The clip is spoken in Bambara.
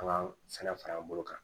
An ka sɛnɛ fara an bolo kan